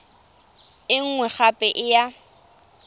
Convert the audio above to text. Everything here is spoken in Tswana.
e nngwe gape e ya